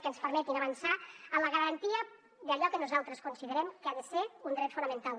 que ens permetin avançar en la garantia d’allò que nosaltres considerem que ha de ser un dret fonamental